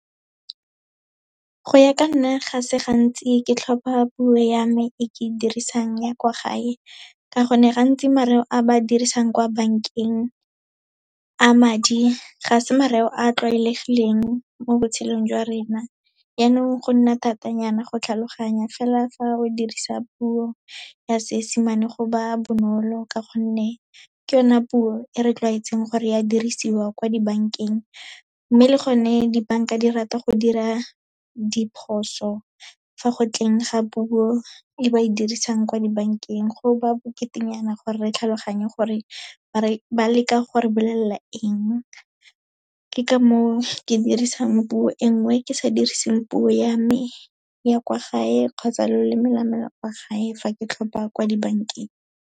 Go ya ka nna, ga se gantsi ke tlhopha puo ya me e ke e dirisang ya kwa gae, ka gonne gantsi mareo a ba dirisang kwa bankeng a madi, ga se mareo a tlwaelegileng mo botshelong jwa rena, yaanong go nna thatanyana go tlhaloganya, fela fa o dirisa puo ya Seesemane go ba bonolo, ka gonne ke yona puo e re tlwaetseng gore ya dirisiwa kwa dibankeng. Mme le gone dibanka di rata go dira diphoso fa go tleng ga puo e ba e dirisang kwa dibankeng, go ba boketenyana gore re tlhaloganye gore ba leka gore bolelela eng. Ke ka moo ke dirisang puo e nngwe ke sa diriseng puo ya me ya kwa gae, kgotsa loleme lame kwa gae fa ke tlhopa kwa dibankeng.